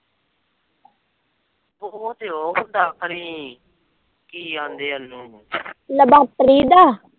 laboratory the